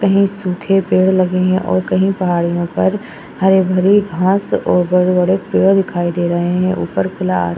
कही सूखे पेड़ लगे हैं और कही पहाड़ियों पर हरी-भरी घास और बड़े-बड़े पेड़ दिखाई दे रहे हैं। ऊपर खुला आस --